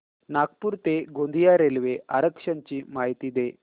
नागपूर ते गोंदिया रेल्वे आरक्षण ची माहिती दे